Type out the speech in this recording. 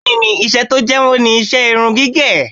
Bẹ́ẹ̀ni, iṣẹ́ tó jáwó ni iṣẹ́ irun gígẹ̀